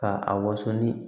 Ka a waso ni